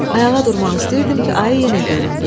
Ayağa durmaq istəyirdim ki, ayı yenə göründü.